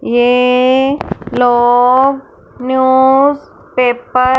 ये लोग news paper --